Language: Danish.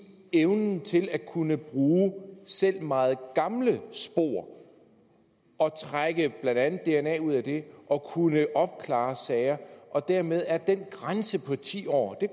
evnen til at kunne bruge selv meget gamle spor og trække blandt andet dna ud af det og kunne opklare sager dermed er den grænse på ti år det